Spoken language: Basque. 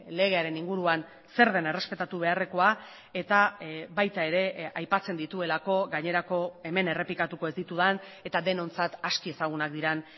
legearen inguruan zer den errespetatu beharrekoa eta baita ere aipatzen dituelako gainerako hemen errepikatuko ez ditudan eta denontzat aski ezagunak diren